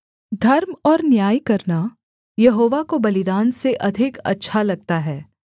धर्म और न्याय करना यहोवा को बलिदान से अधिक अच्छा लगता है